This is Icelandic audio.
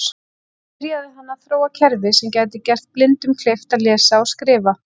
Þar byrjaði hann að þróa kerfi sem gæti gert blindum kleift að lesa og skrifa.